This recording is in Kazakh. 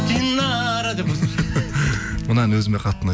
динара мына ән өзі қатты